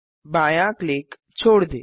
बायाँ क्लिक छोड़ दें